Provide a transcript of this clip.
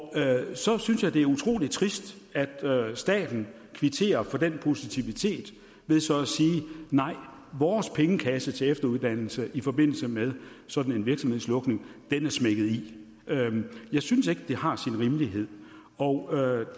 så synes jeg det er utrolig trist at staten kvitterer for den positivitet ved så at sige nej vores pengekasse til efteruddannelse i forbindelse med sådan en virksomhedslukning er smækket i jeg synes ikke det har sin rimelighed og